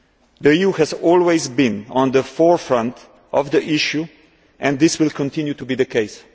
The EU has always been at the forefront on this issue, and that will continue to be the case.